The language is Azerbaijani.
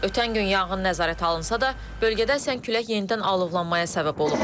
Ötən gün yanğın nəzarət alınsa da, bölgədə əsən külək yenidən alovlanmaya səbəb olub.